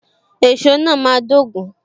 Èso náà máa dogun.